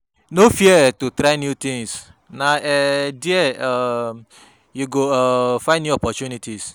No fear to try new tins, na um there um you go um find new opportunities.